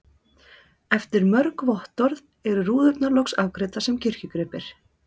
Eftir mörg vottorð eru rúðurnar loks afgreiddar sem kirkjugripir.